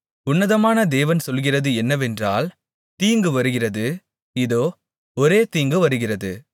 உன்னதமான தேவன் சொல்லுகிறது என்னவென்றால் தீங்கு வருகிறது இதோ ஒரே தீங்கு வருகிறது